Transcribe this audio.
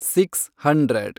six hundred